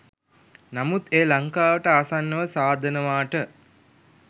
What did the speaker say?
නමුත් එය ලංකාවට ආසන්නව සාදනවාට